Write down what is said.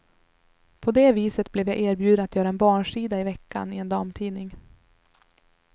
På det viset blev jag erbjuden att göra en barnsida i veckan i en damtidning.